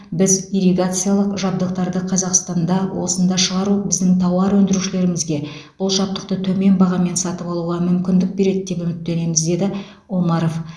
біз ирригациялық жабдықтарды қазақстанда осында шығару біздің тауар өндірушілерімізге бұл жабдықты төмен бағамен сатып алуға мүмкіндік береді деп үміттенеміз деді омаров